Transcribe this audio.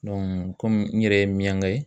Dɔnku kɔmi n yɛrɛ ye miyanga ye